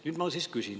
Nüüd ma siis küsin.